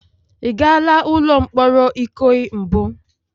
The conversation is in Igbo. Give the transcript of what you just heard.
Ị gala ụlọ mkpọrọ Ikoyi mbụ?